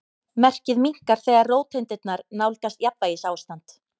Merkið minnkar þegar róteindirnar nálgast jafnvægisástand.